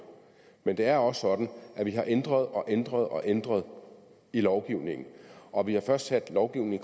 men det er også sådan at vi har ændret og ændret og ændret i lovgivningen og vi har først sat lovgivningen